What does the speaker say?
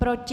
Proti?